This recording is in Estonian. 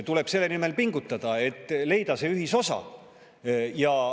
Tuleb selle nimel pingutada, et leida see ühisosa.